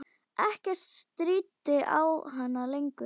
Ekkert stríddi á hann lengur.